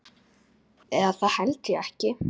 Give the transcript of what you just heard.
Eða það held ég ekki.